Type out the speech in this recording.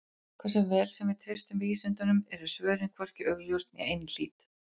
Hversu vel sem við treystum vísindunum eru svörin hvorki augljós né einhlít.